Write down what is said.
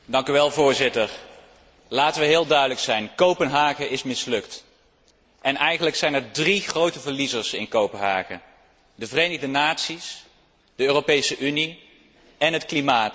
Voorzitter, laten we heel duidelijk zijn Kopenhagen is mislukt en eigenlijk zijn er drie grote verliezers in Kopenhagen de Verenigde Naties, de Europese Unie en het klimaat.